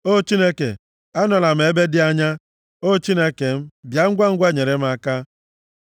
O Chineke, anọla m ebe dị anya; O Chineke m, bịa ngwangwa nyere m aka.